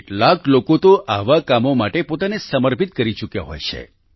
કેટલાક લોકો તો આવા કામો માટે પોતાને સમર્પિત કરી ચૂક્યા હોય છે